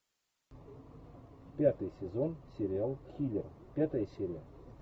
пятый сезон сериал киллер пятая серия